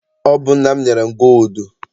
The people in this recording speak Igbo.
Ọ bụ nna m nyere m gooludu.